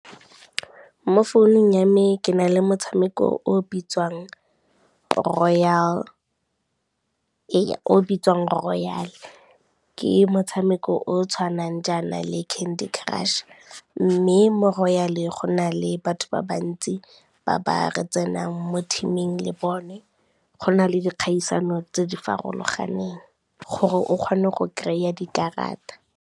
Mo founung ya me ke na le motshameko o bitsiwang Royal, ke motshameko o o tshwanang jaana le Candy Crush, mme mo Royal go na le batho ba bantsi ba ba re tsenang mo team-eng le bone, go na le dikgaisano tse di farologaneng gore o kgone go kry-a dikarata.